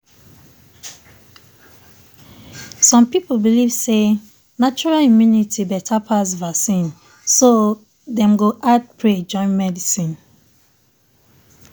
some people belief say natural immunity better pass vaccine so dem go add pray join medicine